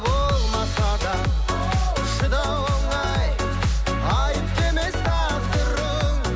болмаса да шыдау оңай айыпты емес тағдырың